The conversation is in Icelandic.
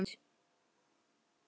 Á leiðinni út fékk ég hugmynd.